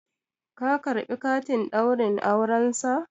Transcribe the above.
ka karɓi katin Ɗaurin aurensa?